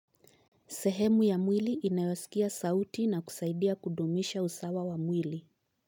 Sehemu ya mwili inayosikia sauti na kusaidia kudumisha usawa wa mwili.